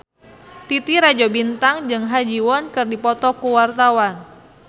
Titi Rajo Bintang jeung Ha Ji Won keur dipoto ku wartawan